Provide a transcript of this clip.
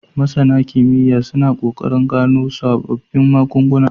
MasAna kimiya suna kokarin gano sababbun magun guna